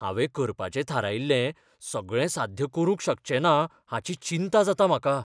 हांवें करपाचें थारायिल्लें सगळें साध्य करूंक शकचेंना हाची चिंता जाता म्हाका.